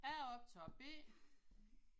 Jeg er optager B